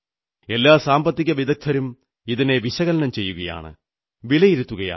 എല്ലാ സാമ്പത്തിക വിദഗ്ധരും ഇതിനെ വിശകലനം ചെയ്യുകയാണ് വിലയിരുത്തുകയാണ്